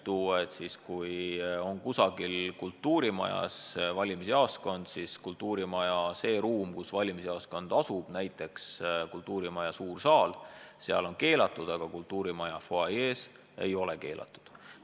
Kui valimisjaoskond on kusagil kultuurimajas, siis selles kultuurimaja ruumis, kus valimisjaoskond asub, näiteks kultuurimaja suures saalis, on valimisagitatsioon keelatud, aga kultuurimaja fuajees ei ole keelatud.